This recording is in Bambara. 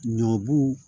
Ɲɔbu